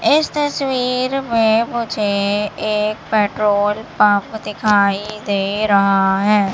इस तस्वीर में मुझे एक पेट्रोल पंप दिखाई दे रहा है।